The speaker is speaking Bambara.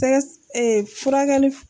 Sɛgɛ ee furakɛliw